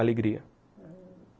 Alegria.